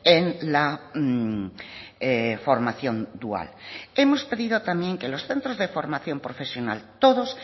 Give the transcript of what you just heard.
en la formación dual hemos pedido también que los centros de formación profesional todos